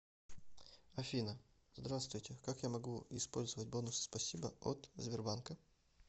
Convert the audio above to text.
афина здравствуйте как я могу использовать бонусы спасибо от сбербанка